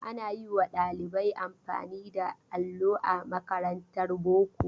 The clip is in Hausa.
Ana yi wa ɗalibai amfani da allo a makarantar boko.